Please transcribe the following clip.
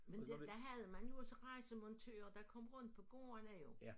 Men det der havde man jo også rejsemontører der kom rundt på gårdene jo